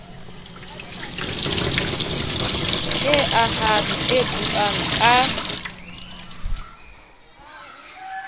e ahang e buang ka